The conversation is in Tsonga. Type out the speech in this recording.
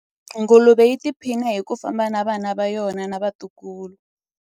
Nguluve yi tiphina hi ku famba na vana va yona na vatukulu.